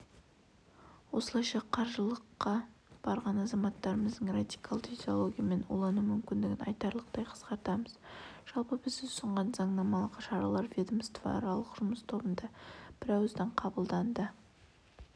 осылайша қажылыққа барған азаматтарымыздың радикалды идеологиямен улану мүмкіндігін айтарлықтай қысқартамыз жалпы біз ұсынған заңнамалық шаралар ведомствоаралық жұмыс тобында бірауыздан қабылданды